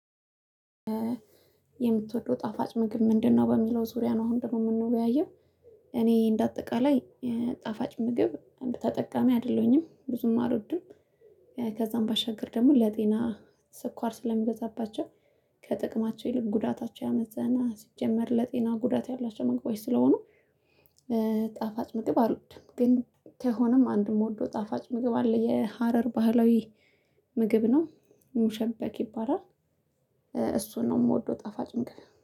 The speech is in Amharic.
የምትወደው ጣፋጭ ምግብ ምንድነው? በሚለው ዙሪያ ነው አሁን ደግሞ የምንወያየው እኔ እንደ አጠቃላይ ጻፋጭ ምግብ እንደ ተጠቃሚ አይደለሁኝም ብዙም አልወድም። ከዛም ባሻገር ደግሞ ለጤና ስኳር ስለሚበዛባቸው ከጥቅማቸው ይልቅ ጉዳታቸው ያመዘነ ሲጀመር ለጤና ጉዳት ያላቸው መግባት ስለሆኑ። ጣፋጭ ምግብ አልወድም። ግን ከሆነም አንድ የምወደው ጣፋጭ ምግብ አለ የሀረር ባህላዊ ምግብ ነው ሙሸበክ ይባላል። እሱን ነው የምወደው ጠፋጭ ምግብ